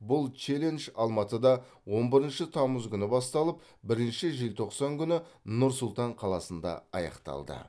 бұл челлендж алматыда он бірінші тамыз күні басталып бірінші желтоқсан күні нұр сұлтан қаласында аяқталды